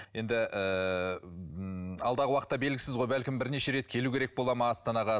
енді ыыы ммм алдағы уақытта белгісіз ғой бәлкім бірнеше рет келу керек бола ма астанаға